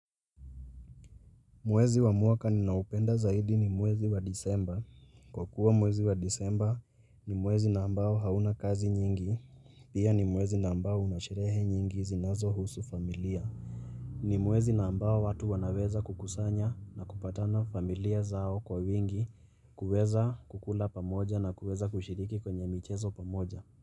Mwezi wa mwaka ninaupenda zaidi ni mwezi wa disemba. Kwa kuwa mwezi wa disemba ni mwezi nambao hauna kazi nyingi. Pia ni mwezi nambao unashirehe nyingi zinazo husu familia. Ni mwezi nambao watu wanaweza kukusanya na kupatana familia zao kwa wingi kuweza kukula pamoja na kuweza kushiriki kwenye michezo pamoja.